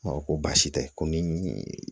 Ma ko baasi tɛ ko ni